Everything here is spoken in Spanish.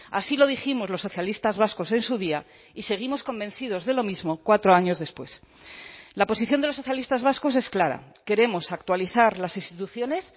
así lo dijimos los socialistas vascos en su día y seguimos convencidos de lo mismo cuatro años después la posición de los socialistas vascos es clara queremos actualizar las instituciones